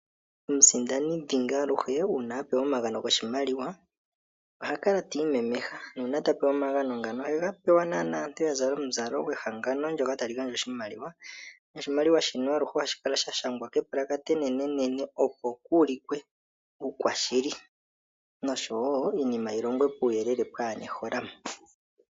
Omusindani dhingi aluhe uuna a pewa omagano goshimaliwa oha kala tiimemeha, nuuna ta pewa omagano ngono ohe ga pewa naana aantu ya zala omuzalo gwehangano ndjoka ta li gandja oshimaliwa, noshimaliwa shono ohashi kala sha shangwa kepalakata enene nene opo kuulikwe uukwashili nosho wo iinima yilongwe puuyeelele pwana eholamo.